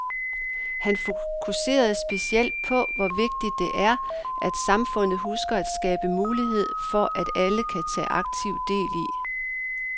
Han fokuserede specielt på, hvor vigtigt det er, at samfundet husker at skabe mulighed for at alle kan tage aktiv del i